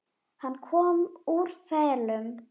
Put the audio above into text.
Hann kom úr felum.